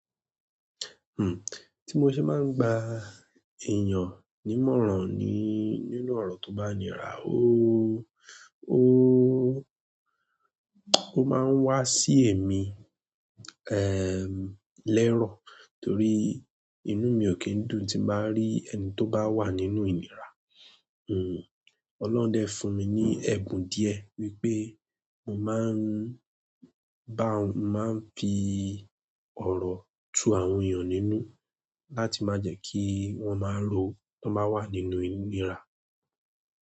Tí mo ṣe máa ń gba èèyàn nímọ̀ràn ni nínú ọ̀rọ̀ tó bá ni rá ó máa ń wá sí èmí, lérọ̀ torí inú mi ò kí ń dùn tí màá rí ẹni tó bá wà nínú ìnira. Ọlọ́run dẹ fún mi ní ẹ̀bùn díẹ̀ wípé mo máa ń bá, máa ń fi ọ̀rọ̀ tu àwọn èèyàn nínú láti má jẹ kí wọ́n má ró tón bá wà nínú ìnira.